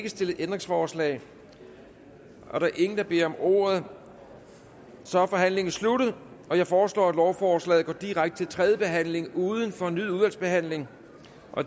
ikke stillet ændringsforslag der er ingen der beder om ordet så er forhandlingen sluttet jeg foreslår at lovforslaget går direkte til tredje behandling uden fornyet udvalgsbehandling